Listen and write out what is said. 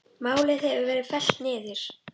Málið hefur verið fellt niður.